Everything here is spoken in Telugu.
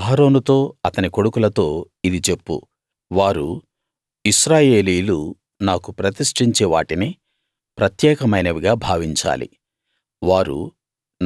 అహరోనుతో అతని కొడుకులతో ఇది చెప్పు వారు ఇశ్రాయేలీయులు నాకు ప్రతిష్ఠించే వాటిని ప్రత్యేకమైనవిగా భావించాలి వారు